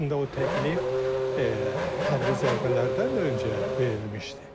Əslində o təklif hərbi zərbələrdən də öncə verilmişdi.